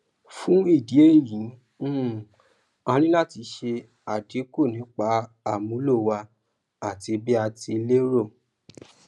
fún ìdí èyí um a ní láti ṣe àdínkù nípa àmúlò wa àti bí a ti lérò